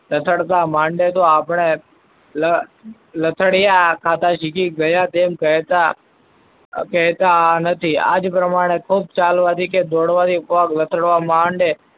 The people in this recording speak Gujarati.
લથાડતા માટે તો આપણે લ~લથાડીયા ખાતા શીખી ગયા. તેમ કહેતા કહેતા નથી આ જ પ્રમાણે ખુબ ચાલવાથી કે દોડવાથી પગ લથાડવા માંડે,